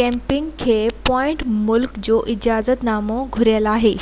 camping کي پوئين ملڪ جو اجازت نامو گهربل آهي